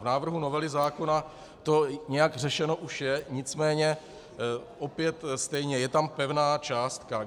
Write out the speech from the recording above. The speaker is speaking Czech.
V návrhu novely zákona to nějak řešeno už je, nicméně opět stejně, je tam pevná částka.